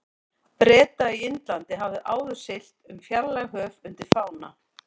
Breta í Indlandi, hafði áður siglt um fjarlæg höf undir fána